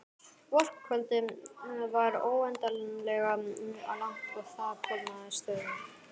Vorkvöldið var óendanlega langt og það kólnaði stöðugt.